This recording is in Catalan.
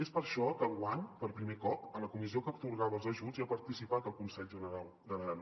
és per això que enguany per primer cop a la comissió que atorgava els ajuts hi ha participat el conselh generau d’aran